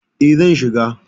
E, zan shiga.